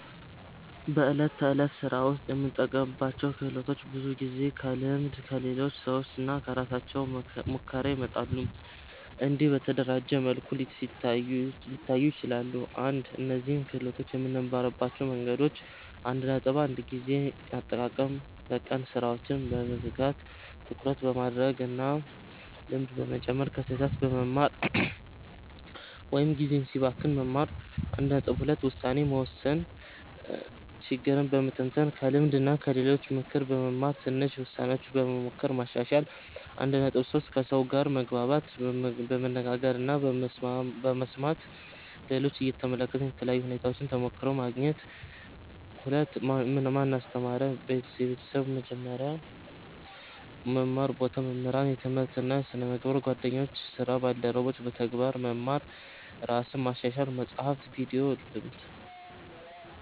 በዕለት ተዕለት ሥራ ውስጥ የምንጠቀምባቸው ክህሎቶች ብዙውን ጊዜ ከልምድ፣ ከሌሎች ሰዎች እና ከራሳችን ሙከራ ይመጣሉ። እንዲህ በተደራጀ መልኩ ሊታዩ ይችላሉ፦ 1) እነዚህን ክህሎቶች የምንማርባቸው መንገዶች 1.1 ጊዜ አጠቃቀም በቀን ሥራዎችን በመዝጋት ትኩረት በማድረግ እና ልምድ በመጨመር ከስህተት በመማር (ጊዜ ሲባክን መማር) 1.2 ውሳኔ መወሰን ችግርን በመተንተን ከልምድ እና ከሌሎች ምክር በመማር ትንሽ ውሳኔዎች በመሞከር ማሻሻል 1.3 ከሰው ጋር መግባባት በመነጋገር እና በመስማት ሌሎችን እየተመለከትን በተለያዩ ሁኔታዎች ተሞክሮ በማግኘት 2) ማን አስተማረን? ቤተሰብ – የመጀመሪያ መማር ቦታ መምህራን – የትምህርት እና ስነ-ምግባር ጓደኞች እና ስራ ባልደረቦች – በተግባር መማር ራስን ማሻሻል – መጻሕፍት፣ ቪዲዮ፣ ልምድ